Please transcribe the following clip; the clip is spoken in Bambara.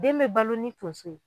Den bɛ balo ni tonso ye